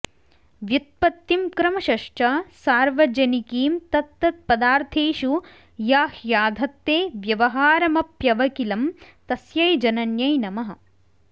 व्युत्पत्तिं क्रमशश्च सार्वजनिकीं तत्तत्पदार्थेषु या ह्याधत्ते व्यवहारमप्यवकिलं तस्यै जनन्यै नमः